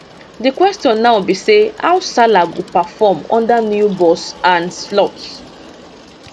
di question now be say how salah go perform under new boss arne slot